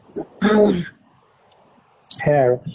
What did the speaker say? ing হেয়া আৰু